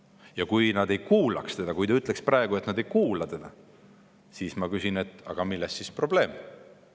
Ja kui nad ei kuulaks teda – kui te ütleksite praegu, et nad ei kuula teda –, siis ma küsin vastu, milles on sel juhul probleem.